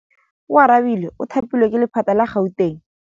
Oarabile o thapilwe ke lephata la Gauteng.